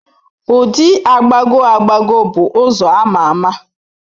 Ụdị agbagọ agbagọ bụ ụzọ a ma ama.